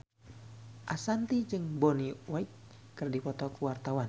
Ashanti jeung Bonnie Wright keur dipoto ku wartawan